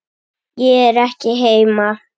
Ég er ekki heima.